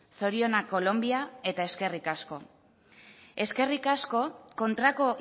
zorionak kolonbia eta eskerrik asko eskerrik asko kontrako